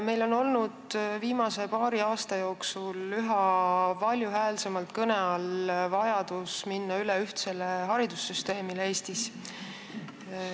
Meil on olnud viimase paari aasta jooksul üha valjuhäälsemalt kõne all vajadus minna üle ühtsele haridussüsteemile Eestis.